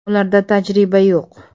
Ularda tajriba yo‘q.